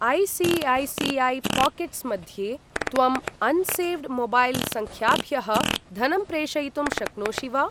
ऐ.सी.ऐ.सी.ऐ.पाकेट्स् मध्ये त्वं unsaved mobile सङ्ख्याभ्यः धनं प्रेषयितुं शक्नोषि वा?